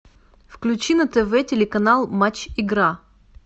включи на тв телеканал матч игра